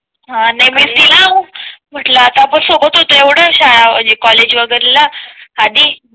हां नाही मी दिलाव म्हंटल आपण सोबत होते एवढे शाळा कॉलेज वगैरेला आधी